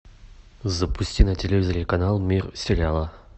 запусти на телевизоре канал мир сериала